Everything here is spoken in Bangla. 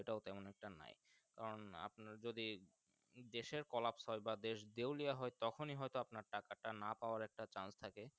টা তেমন একটা নাই কারণ আপনার যদি দেশ এরকলাপ ফল বা দেশ দেউলিয়া হয় তখনি হয় তো আপনার টাকা টা না পাওয়ার একটা Chance থাকে।